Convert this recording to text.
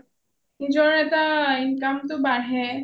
নিজৰ এটা income টো বাঢ়ে